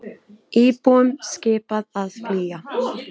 Íbúum skipað að flýja